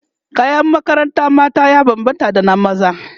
kayan makarantar mata ya banbanta da na maza